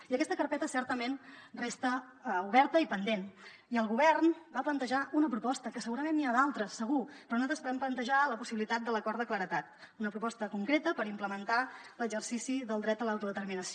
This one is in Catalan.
i aquesta carpeta certament resta oberta i pendent i el govern va plantejar una proposta que segurament n’hi ha d’altres segur però nosaltres vam plantejar la possibilitat de l’acord de claredat una proposta concreta per implementar l’exercici del dret a l’autodeterminació